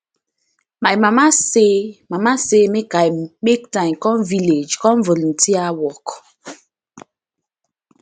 my mama say mama say make i make time come village for volunteer work